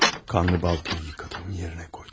Qanlı baltanı yudum, yerinə qoydum.